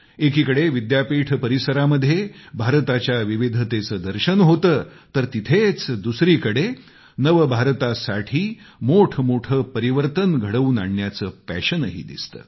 एकीकडे विद्यापीठ परिसरामध्ये भारताच्या विविधतेचे दर्शन होते तर तिथंच दुसरीकडे नवभारतासाठी मोठ मोठे परिवर्तन घडवून आणण्याचे पॅशनही दिसते